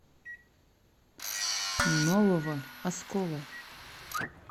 нового оскола